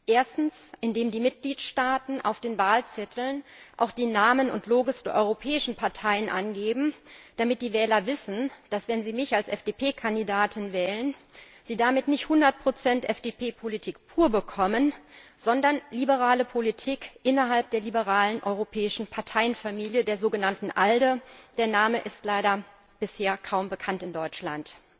Erstens, indem die Mitgliedstaaten auf den Wahlzetteln auch die Namen und Logos der europäischen Parteien angeben, damit die Wähler wissen, dass sie, wenn sie mich als FDP Kandidatin wählen, damit nicht 100 FDP Politik pur bekommen, sondern liberale Politik innerhalb der liberalen europäischen Parteienfamilie, der sogenannten ALDE der Name ist leider bisher kaum bekannt in Deutschland.